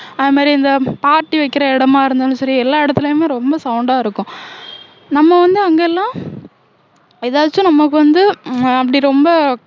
அது மாதிரி இந்த பார்ட்டி வைக்கிற இடமா இருந்தாலும் சரி எல்லா இடத்திலேயுமே ரொம்ப sound அ இருக்கும் நம்ம வந்து அங்க எல்லாம் எதாச்சும் நமக்கு வந்து ம~ அப்படி ரொம்ப